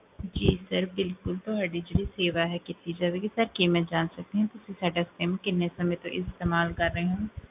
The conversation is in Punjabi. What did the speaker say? ਜੀ sir ਬਿਲਕੁਲ, ਤੁਹਾਡੀ ਜੇਹੜੀ ਸੇਵਾ ਕੀਤੀ ਜਾਵੇਗੀ, ਸਰ ਕੀ ਮੈਂ ਜਾਨ ਸਕਦੀ ਹਾਂ ਤੁਸੀਂ ਸਾਡਾ ਸਿਮ ਕਿੰਨੇ ਸਮੇ ਤੋ ਇਸਤੇਮਾਲ ਕਰ ਰਹੇ ਹੋ?